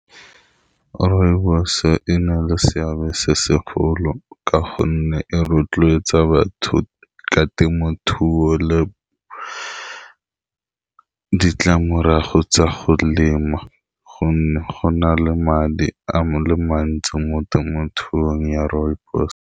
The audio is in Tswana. Rooibos-e e na le seabe se segolo ka gonne e rotloetsa batho ka temothuo le ditlamorago tsa go lema, gonne go na le madi a le mantsi mo temothuong ya rooibos.